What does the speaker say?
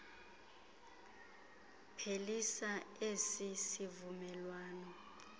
phelisa esi sivumelwano